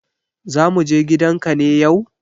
Za mu je gidan ka ne yau?